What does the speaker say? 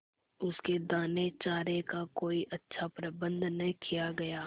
उसके दानेचारे का कोई अच्छा प्रबंध न किया गया